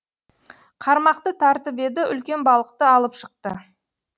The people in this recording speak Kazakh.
қармақты тартып еді үлкен балықты алып шықты